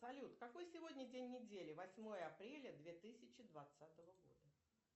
салют какой сегодня день недели восьмое апреля две тысячи двадцатого года